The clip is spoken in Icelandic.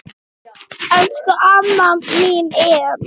Elsku amma mín Em.